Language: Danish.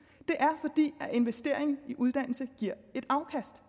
det er fordi investering i uddannelse giver et afkast